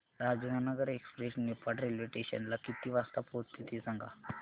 Rajendranagar express Niphad railway station ला किती वाजता पोहचते ते सांग